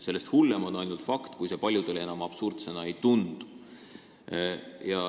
Sellest hullem on ainult fakt, kui see paljudele enam absurdsena ei tundu.